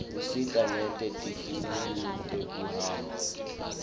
usita nete tintfueni tekuhamba